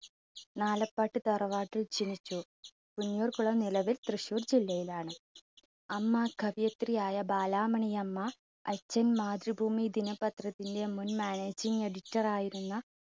നാലേപ്പാട്ട് തറവാട്ടിൽ ജനിച്ചു പുന്നൂർകുളം നിലവിൽ തൃശ്ശൂർ ജില്ലയിലാണ്. അമ്മ കവിയത്രിയായ ബാലാമണിയമ്മ അച്ഛൻ മാതൃഭൂമി ദിനപത്രത്തിന്റെ മുൻ managing editor റായിരുന്ന